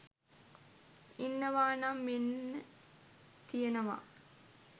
ඉන්නවානම් මෙන්න තියෙනවා